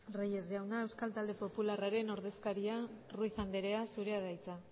reyes jauna euskal talde popularraren ordezkaria ruiz andrea zurea da hitza